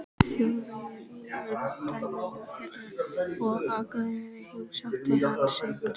Þjóðverja í umdæmum þeirra, og á Akureyri heimsótti hann Sigurð